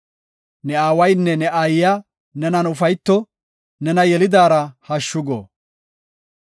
Ne aawaynne ne aayiya nenan ufayto; nena yelidaara hashshu go.